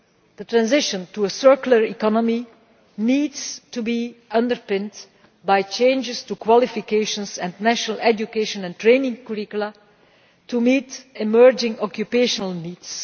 The transition to a circular economy needs to be underpinned by changes to qualifications and national education and training curricula to meet emerging occupational needs.